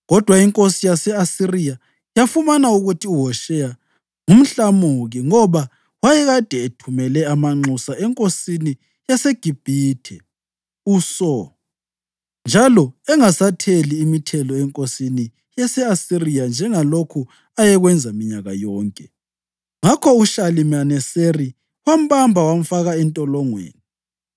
Kodwa inkosi yase-Asiriya yafumana ukuthi uHosheya ngumhlamuki, ngoba wayekade ethumele amanxusa enkosini yaseGibhithe uSo, njalo engasatheli imithelo enkosini yase-Asiriya njengalokhu ayekwenza minyaka yonke. Ngakho uShalimaneseri wambamba wamfaka entolongweni.